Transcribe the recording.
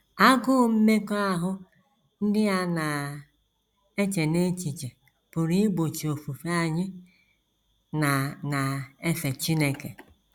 Agụụ mmekọahụ ndị a na - eche n’echiche pụrụ igbochi ofufe anyị na na - efe Chineke.